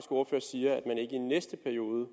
ordfører siger at i næste periode